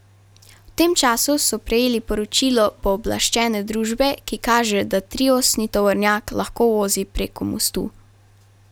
V tem času so prejeli poročilo pooblaščene družbe, ki kaže, da triosni tovornjak lahko vozi preko mostu.